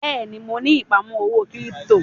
Bẹ́ẹ̀ni mo ni ìpamọ́ owó kírípítò.